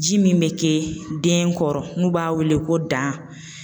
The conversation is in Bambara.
Ji min me ke den kɔrɔ n'u b'a weele ko dan